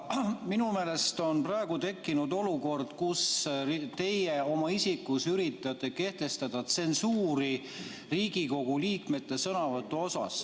Aga minu meelest on praegu tekkinud olukord, kus teie oma isikus üritate kehtestada tsensuuri Riigikogu liikmete sõnavõttude üle.